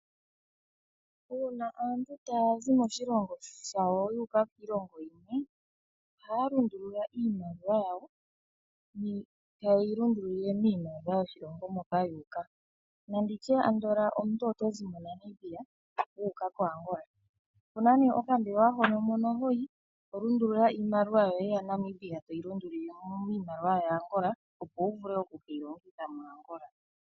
Uuna aantu taya zi moshilongo shayo yu uka kiilongo iikwawo, ohaya lundulula iimaliwa yawo, taye yi lundululile miimaliwa yoshilongo moka yu uka nanditye andola omuntu oto zi moNamibia wu uka koAngola, opuna nee okambelewa hono mono hoyi, to lundulula iimaliwa yoye yaNamibia toyi lundululile miimaliwa yaAngola, opo wu vule oku keyi longitha moAngola.